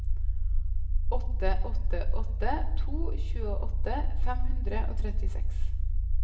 åtte åtte åtte to tjueåtte fem hundre og trettiseks